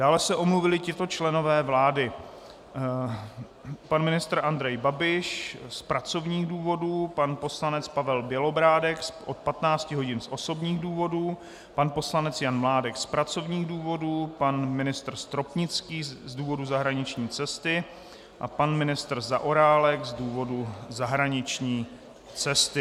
Dále se omluvili tito členové vlády: pan ministr Andrej Babiš z pracovních důvodů, pan poslanec Pavel Bělobrádek od 15 hodin z osobních důvodů, pan poslanec Jan Mládek z pracovních důvodů, pan ministr Stropnický z důvodu zahraniční cesty a pan ministr Zaorálek z důvodu zahraniční cesty.